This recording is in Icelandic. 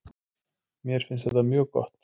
Mér finnst þetta mjög gott.